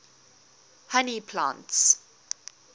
honey plants